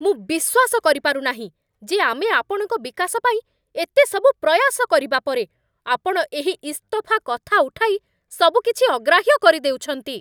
ମୁଁ ବିଶ୍ୱାସ କରିପାରୁ ନାହିଁ ଯେ ଆମେ ଆପଣଙ୍କ ବିକାଶ ପାଇଁ ଏତେ ସବୁ ପ୍ରୟାସ କରିବା ପରେ, ଆପଣ ଏହି ଇସ୍ତଫା କଥା ଉଠାଇ ସବୁକିଛି ଅଗ୍ରାହ୍ୟ କରି ଦେଉଛନ୍ତି।